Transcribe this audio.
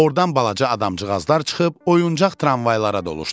Ordan balaca adamcıqazlar çıxıb oyuncaq tramvaylara doluşdular.